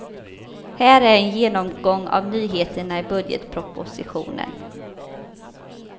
Här är en genomgång av nyheterna i budgetpropositionen.